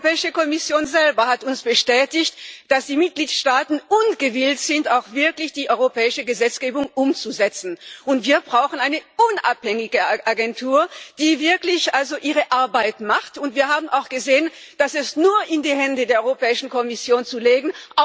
Die Europäische Kommission selbst hat uns bestätigt, dass die Mitgliedstaaten gewillt sind, auch wirklich die europäische Gesetzgebung umzusetzen, und wir brauchen eine unabhängige Agentur, die wirklich ihre Arbeit macht, und wir haben auch gesehen, dass es auch nicht ausreicht dies nur in die Hände der Europäischen Kommission zu legen.